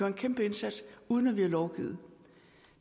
en kæmpe indsats uden at vi har lovgivet